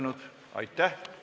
Istungi lõpp kell 10.41.